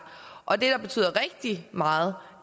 og det der betyder rigtig meget